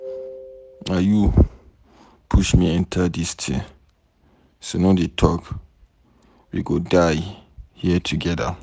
Na you push me enter dis thing so no dey talk. We go die here together.